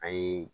An ye